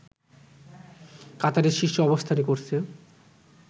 কাতারের শীর্ষে অবস্থান করছে